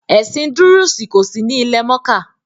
“Ẹ̀sìn dúrúùsì” kòsí ní ilẹ̀-mọ́kà.